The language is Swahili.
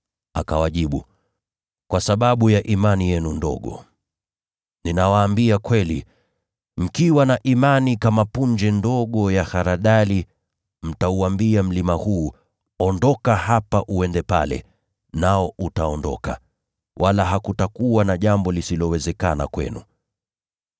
Akawajibu, “Kwa sababu ya imani yenu ndogo. Ninawaambia kweli, mkiwa na imani ndogo kama punje ya haradali, mtauambia mlima huu, ‘Ondoka hapa uende pale,’ nao utaondoka. Wala hakutakuwa na jambo lisilowezekana kwenu. [